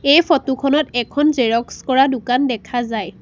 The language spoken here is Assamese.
এই ফটো খনত এখন জেৰক্স কৰা দোকান দেখা যায়।